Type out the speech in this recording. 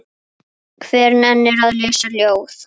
Hver nennir að lesa ljóð?